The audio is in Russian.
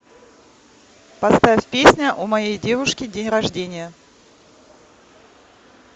поставь песня у моей девушки день рождения